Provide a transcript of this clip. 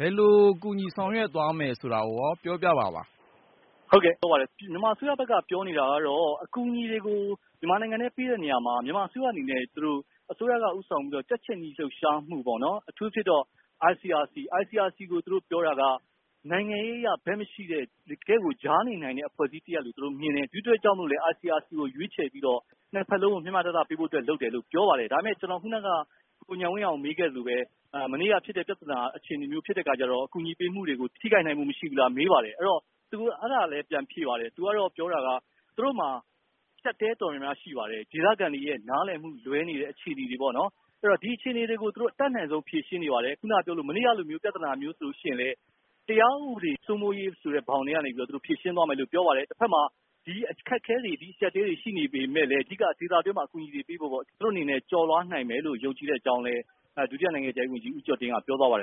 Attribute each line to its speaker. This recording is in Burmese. Speaker 1: ဘယ်လိုကူညီဆောင်ရွက်သွားမယ်ဆိုတာကိုရော ပြောပြပါသလား။
Speaker 2: ဟုတ်ကဲ့ပြောပါတယ် မြန်မာအစိုးရဘက်က ပြောနေတာကတော့ အကူအညီတွေကို မြန်မာနိုင်ငံထဲပေးတဲ့နေရာမှာ မြန်မာအစိုးရအနေနဲ့ သူတို့ မြန်မာအစိုးရက ဦးဆောင်ပြီးတော့ ကြက်ခြေနီလှုပ်ရှားမှုပေါ့နော် အထူးသဖြင့်တော့ ICRC ကိုသူတို့ပြောတာက နိုင်ငံရေးအရ ဘက်မရှိတဲ့ တကယ့်ကို ကြားနေနိုင်တဲ့ အဖွဲ့အစည်းတရပ်လို့ သူတို့မြင်တယ်၊ ဒီအတွက်ကြောင့်မို့လို့ ICRC ကိုရွေးပြီးတော့ ၂ ဖက်စလုံးကို မျှမျှတတ ပေးဖို့အတွက် လုပ်တယ်လို့ပြောပါတယ်။ ဒါပေမယ့် ခုနက ကိုဉာဏ်ဝင်းအောင်မေးခဲ့သလိုပဲ မနေ့က ဖြစ်တဲ့ ပြဿနာအခြေအနေမျိုးဖြစ်တဲ့အခါကျတော့ ကူညီပေးမှုတွေကို ထိခိုက်နိုင်မှုမရှိဘူးလားလို့မေးပါတယ်။ အဲဒီတော့ သူအဲဒါလည်းပြန်ဖြေပါတယ်။ သူကတော့ ပြောတာကတော့ သူတို့မှာ အကျပ်အတည်းတော်တော်များများရှိပါတယ်၊ ဒေသခံတွေရဲ့နားလည်မှု လွဲနေတဲ့အခြေအနေတွေပေါ့နော် အဲဒီတော့ ဒီအခြေအနေတွေ ကို သူတို့ အတတ်နိုင်ဆုံးဖြေရှင်းနေပါတယ်၊ ခုနကပြောသလို မနေ့ကလို ပြဿနာမျိုးဆိုရင် တရားဥပဒေစိုးမိုးရေးဆိုတဲ့ ဘောင်ထဲကနေ သူတို့ဖြေရှင်းသွားမယ်လို့ ပြောပါတယ်။ တဖက်မှာ ဒီလိုအခက်အခဲတွေ အကျပ်အတည်းတွေရှိနေပေမယ့်လည်း အဓိက ဒေသအတွင်းမှာ အကူအညီတွေပေးဖို့ သူတို့အနေနဲ့ ကျော်လွှား နိုင်မယ်လို့ ယုံကြည်တဲ့အကြောင်းလည်း ဒုတိယနိုင်ငံခြားရေးဝန်ကြီး ဦးကျော်တင်က ပြောသွားပါတယ်